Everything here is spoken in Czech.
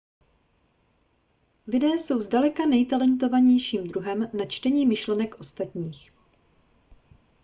lidé jsou zdaleka nejtalentovanějším druhem na čtení myšlenek ostatních